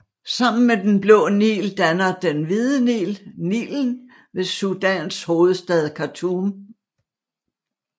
Sammen med Den Blå Nil danner Den Hvide Nil Nilen ved Sudans hovedstad Khartoum